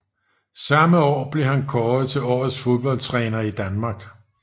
Samme år blev han kåret til Årets fodboldtræner i Danmark